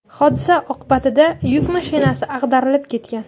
Hodisa oqibatida yuk mashinasi ag‘darilib ketgan.